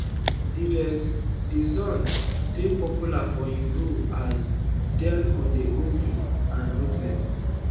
derek dixon dey popular for im role as dale on the oval and ruthless